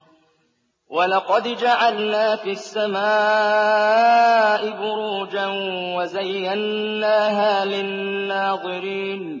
وَلَقَدْ جَعَلْنَا فِي السَّمَاءِ بُرُوجًا وَزَيَّنَّاهَا لِلنَّاظِرِينَ